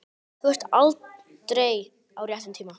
Þú ert aldrei á réttum tíma.